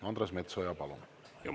Andres Metsoja, palun!